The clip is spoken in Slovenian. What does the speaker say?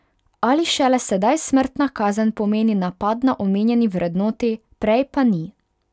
Ali šele sedaj smrtna kazen pomeni napad na omenjeni vrednoti, prej pa ni.